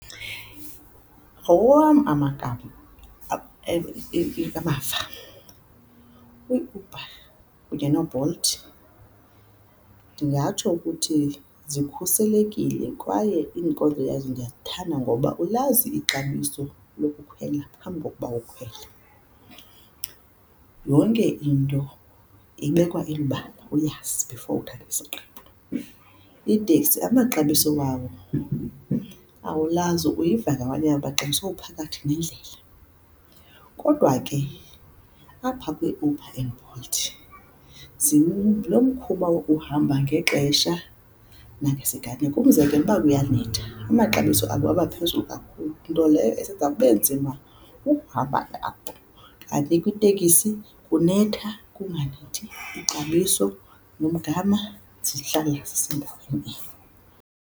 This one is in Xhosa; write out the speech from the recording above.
Awam amagama amava u-Uber kunye noBolt ndingatsho ukuthi zikhuselekile kwaye iinkonzo yazo ndiyazithanda, ngoba ulazi ixabiso lokukhwela phambi kokuba ukhwele. Yonke into ibekwa elubala uyazi before uthatha isigqibo. Iiteksi amaxabiso wawo awulazi, uyiva ngamanye amaxesha sowuphakathi nendlela, kodwa ke apha kwiUber and Bolt lo mkhuba wokuhamba ngexesha nangesiganeko, umzekelo ukuba kuyanetha amaxabiso abo aba phezulu kakhulu, nto leyo eyenza kube nzima ukuhamba ngabo, kanti kwitekisi kunetha kunganethi ixabiso nomgama zihlala zisendaweni enye.